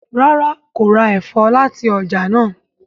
ràrá kò rá èfó láti ọjà náa.